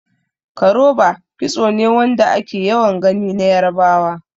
Koroba kitso ne Wanda ake yawan Gani na yarbawa.